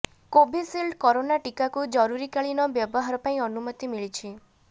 Covishield corona ଟିକାକୁ ଜରୁରିକାଳୀନ ବ୍ୟବହାର ପାଇଁ ଅନୁମତି ମିଳିଛି